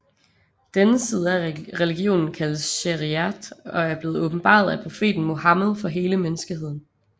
Denne side af religionen kaldes Şeriat og er blevet åbenbaret af profeten Muhammed for hele menneskeheden